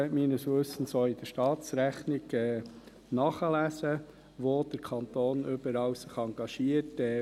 Meines Wissens kann man auch in der Staatsrechnung nachlesen, wo sich der Kanton überall engagiert.